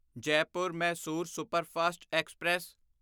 Jaipur Mysore superfast express